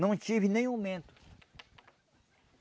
Não tive nem aumento.